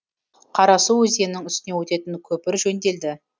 қарасу өзеннің үстінен өтетін көпір жөнделді